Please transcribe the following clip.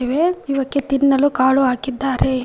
ಇವೆ ಇವಕ್ಕೆ ತಿನ್ನಲು ಕಾಳು ಹಾಕಿದ್ದಾರೆ.